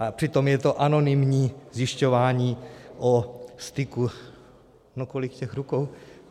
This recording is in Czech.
A přitom je to anonymní zjišťování o styku - no, kolik těch rukou?